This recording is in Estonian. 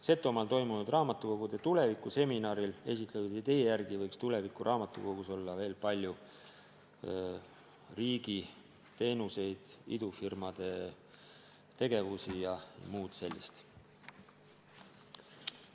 Setomaal toimunud raamatukogude tuleviku seminaril esitletud idee järgi võiks tulevikuraamatukogus olla veel palju riigi teenuseid, idufirmade tegevusi jms.